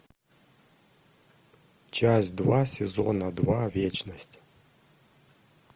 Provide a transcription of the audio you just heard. часть два сезона два вечность